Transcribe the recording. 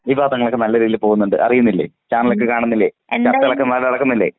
വിവാദങ്ങളൊക്കെ നല്ല രീതിയിൽ പോകുന്നുണ്ട് അറിയുന്നില്ലേ. ചാനലൊക്കെ കാണുന്നില്ലേ ആ ചർച്ചകളൊക്കെ നല്ലോണം നടക്കുന്നില്ലേ.